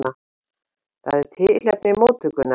Það er tilefni móttökunnar.